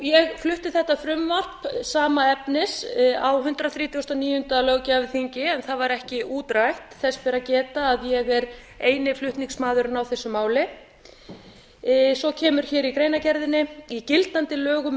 ég flutti þetta frumvarp sama efnis á hundrað þrítugasta og níunda löggjafarþingi en það var ekki útrætt þess ber að geta að ég er eini flutningsmaðurinn á þessu máli svo kemur hér í greinargerðinni í gildandi lögum